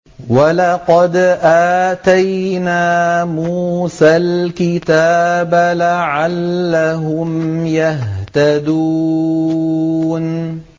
وَلَقَدْ آتَيْنَا مُوسَى الْكِتَابَ لَعَلَّهُمْ يَهْتَدُونَ